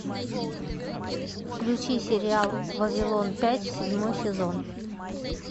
включи сериал вавилон пять седьмой сезон